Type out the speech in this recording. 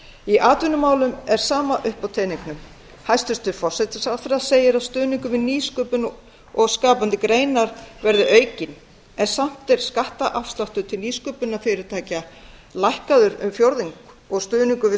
í atvinnumálum er sama upp á teningnum hæstvirtur forsætisráðherra segir að stuðningur við nýsköpun verði aukinn en samt er skattafsláttur til nýsköpunarfyrirtækja lækkaður um tuttugu